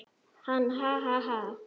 Hann: Ha ha ha.